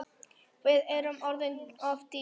Við erum orðin of dýr.